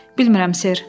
Bilmirəm, ser.